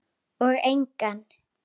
Og engan.